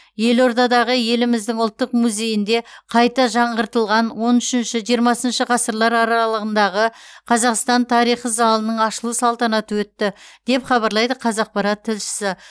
елордадағы еліміздің ұлттық музейінде қайта жаңғыртылған он үшінші жиырмасыншы ғасырлар аралығындағы қазақстан тарихы залының ашылу салтанаты өтті деп хабарлайды қазақпарат тілшісі